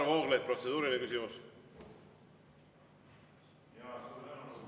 Varro Vooglaid, protseduuriline küsimus.